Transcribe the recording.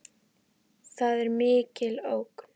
Það er mikil ógn.